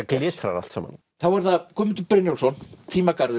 glitrar allt saman þá er það Guðmundur Brynjólfsson